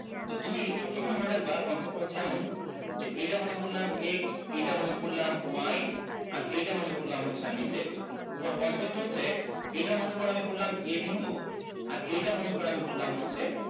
তো তুমি সবসময় মনে রাখবা concept টা হচ্ছে এমন যে এইটা মনে করলাম x এইটা মনে করলাম y আর এইটা মনে করলাম হচ্ছে আমি z concept টা হচ্ছে এইটা মনে করো আমি বললাম a বিন্দু আর এইটা মনে করো আমি বললাম হচ্ছে